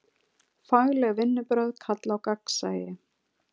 Fagleg vinnubrögð kalla á gagnsæi.